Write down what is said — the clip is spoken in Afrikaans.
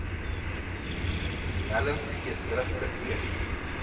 nelm geesdrigtig eens